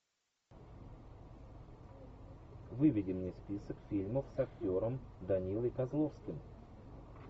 выведи мне список фильмов с актером данилой козловским